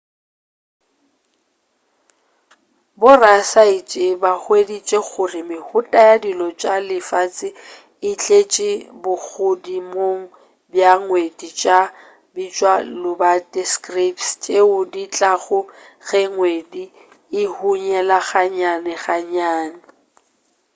borasaentsheba hweditše gore mehuta ya dilo tša lefase e tleše bogodimong bja ngwedi tša go bitšwa lobate scraps tšeo di tlago ge ngwedi o hunyela ga nnyane ga nnyane